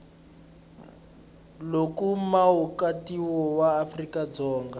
loko muakatiko wa afrika dzonga